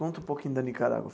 Conta um pouquinho da Nicarágua.